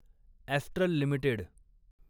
astral limited